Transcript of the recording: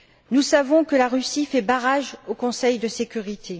Nous savons que la Russie fait barrage au Conseil de sécurité.